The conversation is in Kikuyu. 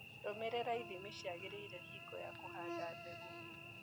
Rũmĩrĩra ithimi ciagĩrĩire hingo ya kũhanda mbegũ.